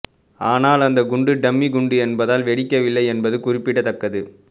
ஆனால் அந்த குண்டு டம்மி உகுண்டு என்பதால் வெடிக்கவில்லை என்பது குறிப்பிடத்தக்கது